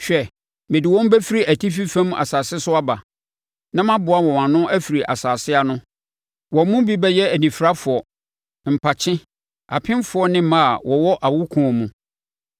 Hwɛ, mede wɔn bɛfiri atifi fam asase so aba na maboa wɔn ano afiri nsase ano. Wɔn mu bi bɛyɛ anifirafoɔ, mpakye, apemfoɔ ne mmaa a wɔwɔ awokoɔ mu. Ɛdɔm kɛseɛ bɛsane aba.